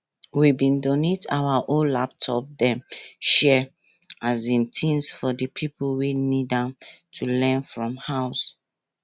we bin donate our old laptop dem share um things for di pipo wey need dem to learn from house